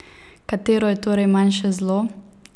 Katero je torej manjše zlo?